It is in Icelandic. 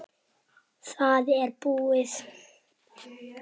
Það er búið.